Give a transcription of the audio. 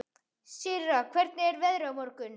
Sirra, hvernig er veðrið á morgun?